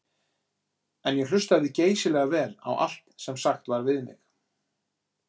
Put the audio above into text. En ég hlustaði geysilega vel á allt sem sagt var við mig.